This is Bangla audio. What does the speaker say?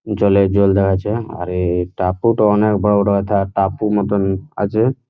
জলে জলদা আছে আরে টাপুটা অনেক বড়োটা টাপু মতন আছে।